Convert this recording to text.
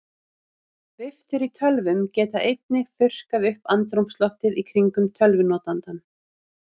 Viftur í tölvum geta einnig þurrkað upp andrúmsloftið í kringum tölvunotandann.